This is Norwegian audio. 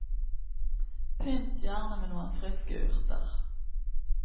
Pynt gjerne med noen friske urter.